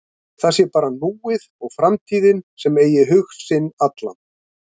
Það sé bara núið og framtíðin sem eigi hug sinn allan.